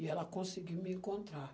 E ela conseguiu me encontrar.